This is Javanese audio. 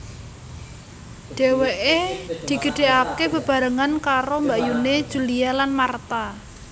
Dhèwèké digedhèkaké bebarengan karo mbakyuné Julia lan Martha